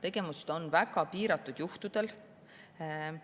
Tegemist on väga piiratud juhtudega, mille